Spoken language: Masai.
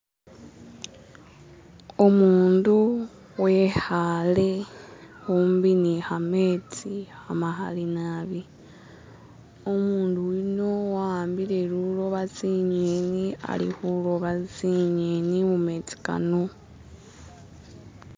Umundu we'khale khumbi ne kametsi kamakali naabi umundu yuno a'ambile luloba tsingeni ali khuloba tsingeni mumetsi kano.